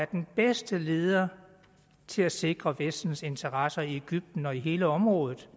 den bedste leder til at sikre vestens interesser i egypten og i hele området